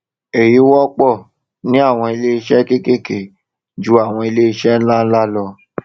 èyí wọpọ ní àwọn iléiṣẹ kékèké ju àwọn iléiṣẹ ńláńlá lọ